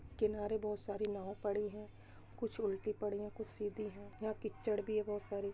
किनारे बहुत सारी नाव पडी है कुछ उल्टी पढ़ी है कुछ सीधी है यहाँ कीचड़ भी है बहुत सारी।